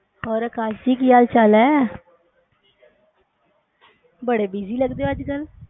ਹੋਰ ਆਕਾਸ਼ ਜੀ ਹਾਲ ਚਾਲ ਏ ਬੜੇ busy ਲਗਦੇ ਓ ਅੱਜਕਲ੍ਹ